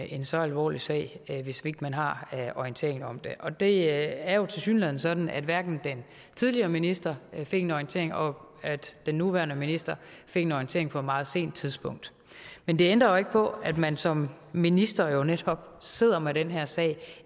en så alvorlig sag hvis ikke man har orientering om det og det er jo tilsyneladende sådan at den tidligere minister fik en orientering og at den nuværende minister fik en orientering på et meget sent tidspunkt men det ændrer jo ikke på at man som minister netop sidder med den her sag